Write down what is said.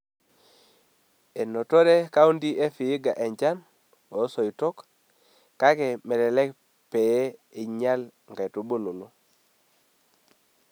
Enotore kaunti e Vihiga enchan oo soitok , kake mmelelek pee einyial nkaitubulu.